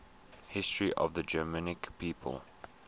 history of the germanic peoples